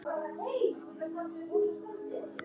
Já, ég er mjög spennt.